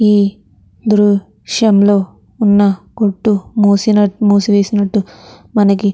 ఈ దృశ్యం లో ఉన్న కొట్టు మూసివే మూసివేసి నట్టు మనకి --